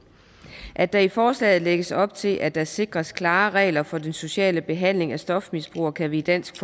at der i forslaget lægges op til at der sikres klare regler for den sociale behandling af stofmisbrugere kan vi i dansk